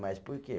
Mas por quê?